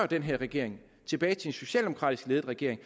den her regering tilbage til en socialdemokratisk ledet regering